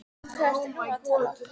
Um hvað ertu nú að tala?